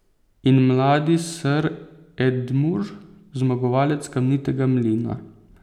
In mladi ser Edmure, zmagovalec Kamnitega mlina.